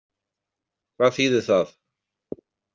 Hvað þýðir það?